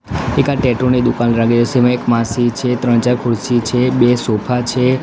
એક આ ટેટૂ ની દુકાન લાગે સેમાં એક માસી છે ત્રણ ચાર ખુરશી છે બે સોફા છે.